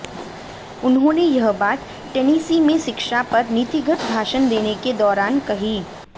उन्होंने यह बात टेनिसी में शिक्षा पर नीतिगत भाषण देने के दौरान कही